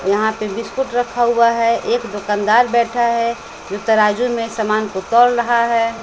यहाँ पे बिस्कुट रखा हुआ है एक दुकनदार बैठा है जो तराजू में समान को तौल रहा है।